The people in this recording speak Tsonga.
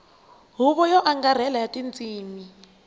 huvo yo angarhela ya tindzimi